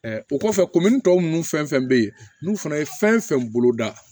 o kɔfɛ kunminntɔ nunnu fɛn fɛn be yen n'u fana ye fɛn fɛn bolo da